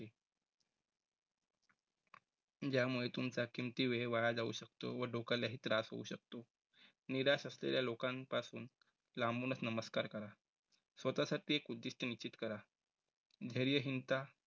ज्यामुळे तुमचा किमती वेळ वाया जाऊ शकतो व डोक्यालाही त्रास होऊ शकतो निराश असलेल्या लोकांपासून लांबूनचं नमस्कार करा. स्वतःसाठी एक उद्दिष्ट निश्चित करा. धैर्य हीनता